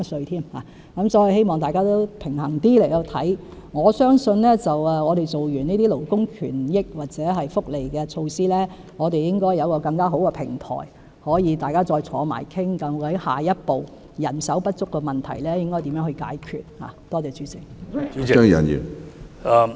所以，希望大家持平一點，我相信完成了這些勞工權益或福利措施之後，我們應該有更好的平台，可以再次一起討論究竟下一步應該如何解決人手不足的問題。